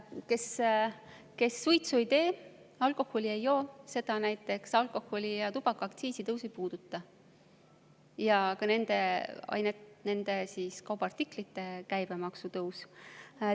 Kes suitsu ei tee ja alkoholi ei joo, seda näiteks ei puuduta alkoholi‑ ja tubakaaktsiisi tõus ega ka nende kaubaartiklite käibemaksu tõus.